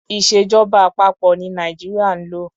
Ìṣèjọba àpapọ̀ ní Nàìjíríà ń lò.